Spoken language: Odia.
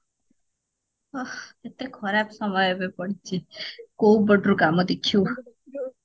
ଓ ଏତେ ଖରାପ ସମୟ ଏବେ ପଡିଚି କୋଉ ପଟରୁ କାମ ଦେଖିବୁ